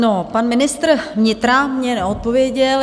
No, pan ministr vnitra mi neodpověděl.